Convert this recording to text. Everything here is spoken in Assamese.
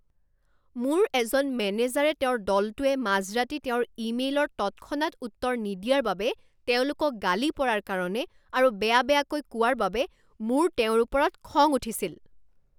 মোৰ এজন মেনেজাৰে তেওঁৰ দলটোৱে মাজৰাতি তেওঁৰ ইমেইলৰ তৎক্ষণাত উত্তৰ নিদিয়াৰ বাবে তেওঁলোকক গালি পৰাৰ কাৰণে আৰু বেয়া বেয়াকৈ কোৱাৰ বাবে মোৰ তেওঁৰ ওপৰত খং উঠিছিল।